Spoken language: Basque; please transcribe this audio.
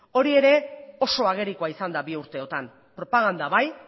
hori ere oso agerikoa izan da bi urteotan propaganda bai